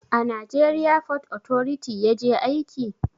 A najeriya fot otoriti yaje aiki?